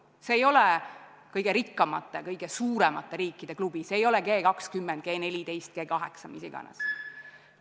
See ei ole kõige rikkamate, kõige suuremate riikide klubi, see ei ole G20, G14, G8 – mis iganes.